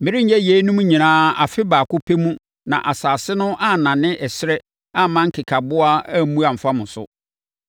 Merenyɛ yeinom nyinaa afe baako pɛ mu na asase no annane ɛserɛ amma nkekaboa ammu amfa mo so.